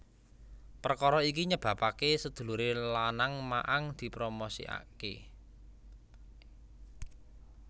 Perkara iki nyebabake sedulure lanang Ma Ang dipromosikake